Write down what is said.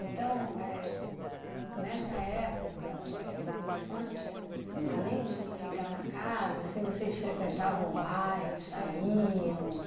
Então, éh nessa época, né, de infância, além de ficar na casa, assim, vocês frequentavam o bairro, saíam?